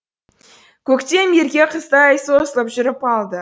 көктем ерке қыздай созылып жүріп алды